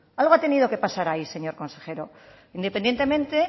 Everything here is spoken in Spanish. algo ha tenido que pasar ahí señor consejero independientemente